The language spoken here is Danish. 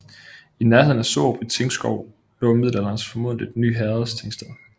I nærheden af Sørup i Tingskov lå i middelalderen formodentlig Ny Herreds tingsted